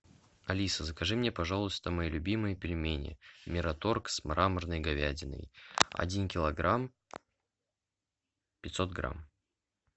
алиса закажи мне пожалуйста мои любимые пельмени мираторг с мраморной говядиной один килограмм пятьсот грамм